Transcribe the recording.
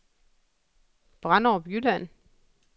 Branderup Jylland